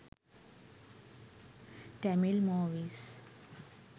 tamil movies